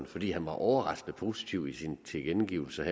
fordi han var overraskende positiv i sine tilkendegivelser